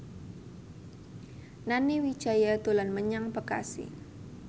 Nani Wijaya dolan menyang Bekasi